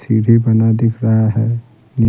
सीढ़ी बना दिख रहा है नहीं--